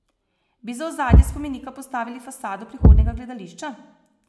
Bi za ozadje spomenika postavili fasado prihodnjega gledališča?